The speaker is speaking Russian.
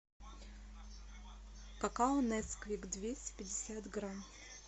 какао несквик двести пятьдесят грамм